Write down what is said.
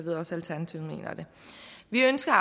vi ønsker at